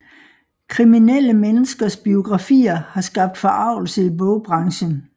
Kriminelle menneskers biografier har skabt forargelse i bogbranchen